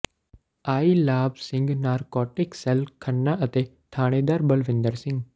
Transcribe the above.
ਆਈ Labh Singh narcotic cell Khanna ਅਤੇ ਥਾਣੇਦਾਰ ਬਲਵਿੰਦਰ ਸਿੰਘ